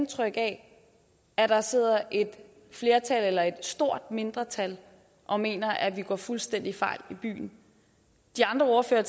indtryk af at der sidder et flertal eller et stort mindretal og mener at vi går fuldstændig fejl i byen de andre ordførere